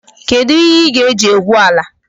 Kedụ ihe ị ga-eji egwu ala?